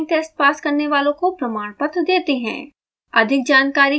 online test pass करने वालों को प्रमाणपत्र देते हैं